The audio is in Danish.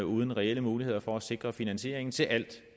uden reelle muligheder for at sikre finansieringen til alt